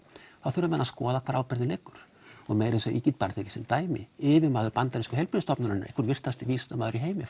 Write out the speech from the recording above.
þá þurfa menn að skoða hvar ábyrgðin liggur og ég get tekið sem dæmi yfirmaður bandarísku heilbrigðisstofnunarinnar einhver virtasti vísindamaður í heimi